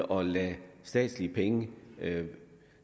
og lade statslige penge